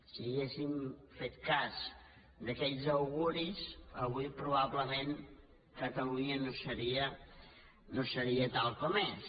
si haguéssim fet cas d’aquells auguris avui probablement catalunya no seria tal com és